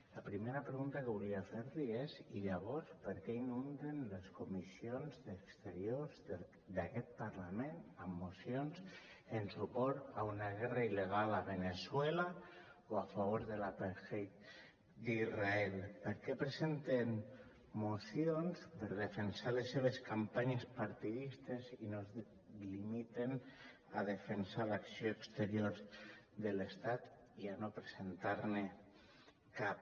la primera pregunta que volia fer li és i llavors per què inunden les comissions d’exteriors d’aquest parlament amb mocions en suport a una guerra il·legal a veneçuela o a favor de l’apartheid d’israel per què presenten mocions per defensar les seves campanyes partidistes i no es limiten a defensar l’acció exterior de l’estat i a no presentar ne cap